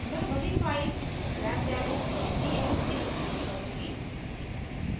मैं वही file grepdemo txt उपयोग करूँगी